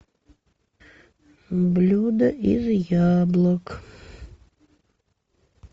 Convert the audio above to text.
блюдо из яблок